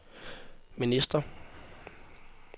ministre